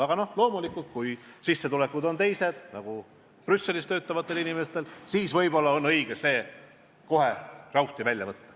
Aga loomulikult, kui sissetulekud on teised, nagu on Brüsselis töötavatel inimestel, siis võib-olla on õige see kohe prauhti välja võtta.